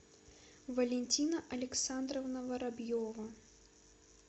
валентина александровна воробьева